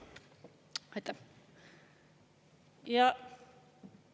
Aitäh!